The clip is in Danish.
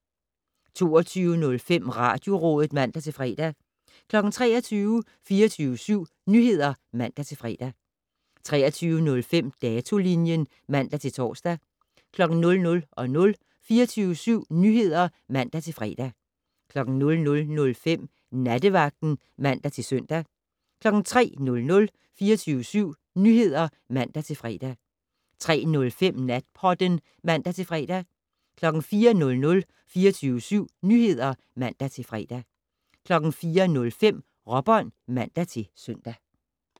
22:05: Radiorådet (man-fre) 23:00: 24syv Nyheder (man-fre) 23:05: Datolinjen (man-tor) 00:00: 24syv Nyheder (man-fre) 00:05: Nattevagten (man-søn) 03:00: 24syv Nyheder (man-fre) 03:05: Natpodden (man-fre) 04:00: 24syv Nyheder (man-fre) 04:05: Råbånd (man-søn)